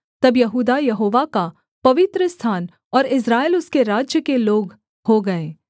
तब यहूदा यहोवा का पवित्रस्थान और इस्राएल उसके राज्य के लोग हो गए